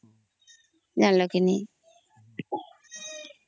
ଜାଣିଲା କେ ନାହିଁ